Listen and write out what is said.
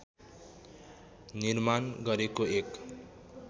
निर्माण गरेको एक